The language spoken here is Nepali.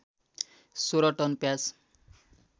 १६ टन प्याज